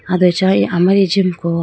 abe acha wuyi amari jimko.